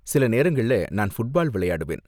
சில நேரங்கள்ல நான் ஃபுட்பால் விளையாடுவேன்.